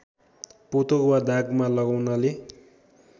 पोतो वा दागमा लगाउनाले